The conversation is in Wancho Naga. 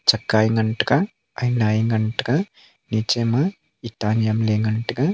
e ngantaiga e ngan taiga niche ma itta nyemley ngan taiga.